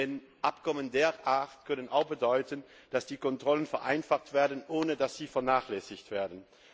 Denn Abkommen dieser Art können auch bedeuten, dass die Kontrollen vereinfacht werden, ohne dass sie vernachlässigt werden.